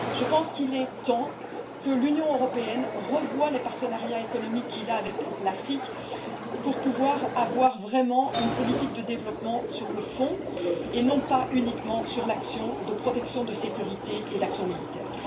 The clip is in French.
Je pense qu'il est temps que l'Union européenne revoie les partenariats économiques qu'elle a avec l'Afrique, pour pouvoir vraiment avoir une politique de développement sur le fond et non pas uniquement sur la protection de la sécurité et l'action militaire.